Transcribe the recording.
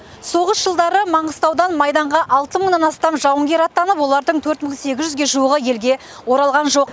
соғыс жылдары маңғыстаудан майданға алты мыңнан астам жауынгер аттанып олардың төрт мың сегіз жүзге жуығы елге оралған жоқ